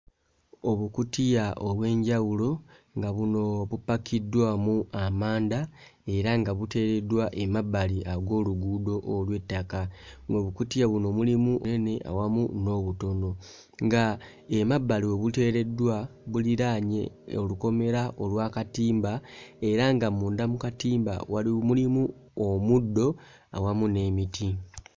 Obukutiya obw'enjawulo nga buno bupakiddwamu amanda era nga buteereddwa ag'oluguudo olw'ettaka ng'obukutiya buno mulimu eni awamu n'obutono nga emabbali we buteereddwa buliraanye eh olukomera olw'akatimba era nga munda mu katimba waliwo mulimu omuddo awamu n'emiti.